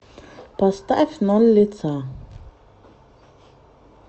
поставь ноль лица